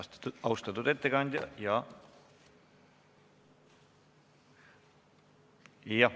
Aitäh, austatud ettekandja!